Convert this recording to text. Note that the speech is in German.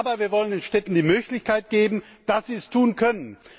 Aber wir wollen den Städten die Möglichkeit geben, dass sie es tun können.